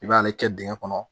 I b'ale kɛ dingɛn kɔnɔ